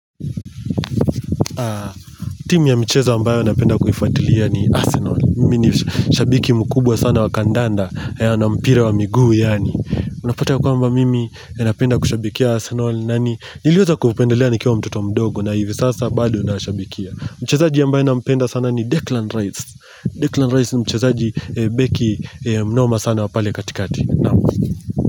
Timu ya mchezo ambayo napenda kuhifuatilia ni Arsenal Mimi ni shabiki mkubwa sana wa kandanda haya na mpira wa miguu yaani Unapata kwamba mimi ninapenda kushabikia Arsenal na niiliweza kupendelea nikiwa mtoto mdogo na hivi sasa bado nashabikia Mchezaji ambaye nampenda sana ni Declan Rice Declan Rice ni mchezaji Beki Mnoma sana wa pale katikati.